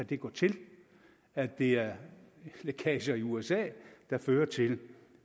kan gå til at det er lækager i usa der fører til